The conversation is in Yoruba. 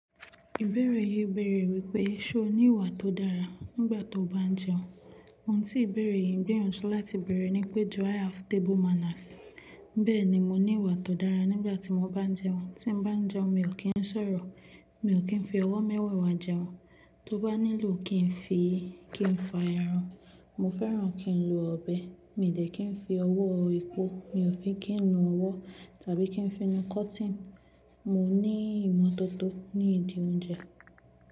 Ìbẹ̀erẹ̀ yìí bẹ̀rẹ̀ wípé, ṣe o ní ìwà tó dára nígbà tó bá ń jẹun? Ohun tí ìbẹ̀rẹ̀ yìí ń gbìyànjú láti bẹ̀rẹ̀ ní pé "do I have table manners?". Bẹ́ẹ̀ ni mo ní ìwà tó dára nígbà tí mo bá ń jẹun. Tí mo bá ń jẹun mi ò kí ń sọ̀rọ̀, mi ò kí ń fi ọwọ́ mẹ́wẹ̀ẹ̀wá jẹun. Tó bá nílò kí n fi kí n fa ẹran, mo fẹ́ràn kí n lo ọ̀bẹ, mi ò dẹ̀ kí ń fi ọwọ́ epo, mi ò fi kí ń nu ọwọ́ tàbí kí ń fi nu cotton. Mo ní ìmọ́tótó ní ìdí oúnjẹ.